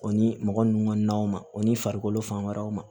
O ni mɔgɔ nun na o ni farikolo fan wɛrɛw ma